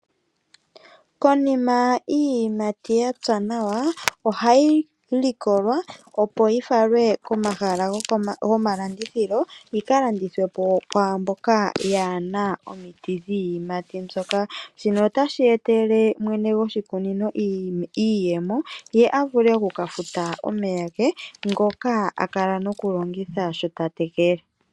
Konima iiyimati ya pya nawa ohayi likolwa, opo yi falwe komahala gomalandithilo yi ka landithwe po kwaa mboka yaa na omiti dhiiyimati mbyoka. Shino otashi etele mwene goshikunino iiyemo ye a vule oku ka futa omeya ge ngoka a kala nokulongitha sho ta tekele.